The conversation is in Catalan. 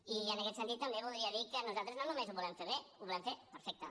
i en aquest sentit també voldria dir que nosaltres no només ho volem fer bé ho volem fer perfecte